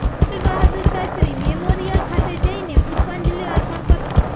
લાલ Bahadur Shastri memorial ખાતે જઇને પુષ્પાંજલિ અર્પણ કરશે